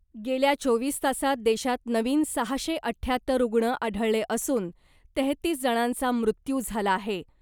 गेल्या चोवीस तासात देशात नवीन सहाशे अठ्याहत्तर रुग्ण आढळले असून , तेहतीस जणांचा मृत्यू झाला आहे .